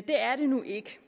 det er det nu ikke